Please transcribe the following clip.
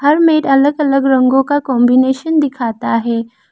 हर mat अलग अलग रंगों का कांबिनेशन दिखाता है।